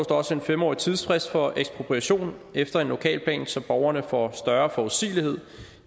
også en fem årig tidsfrist for ekspropriation efter en lokalplan så borgerne får større forudsigelighed